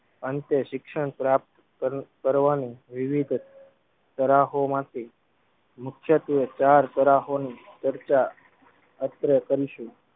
અંતે શિક્ષણ પ્રાપ્ત કર કરવાની વિવિધ તરાહો માંથી મુખ્યત્વે ચાર તરાહોની ચર્ચા અત્રે કરીશું.